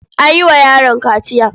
An yi wa yaron kaciya.